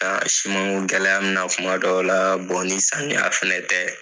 simanko gɛlɛya bi na tuma dɔw la bo ni samiya fɛnɛ tɛ.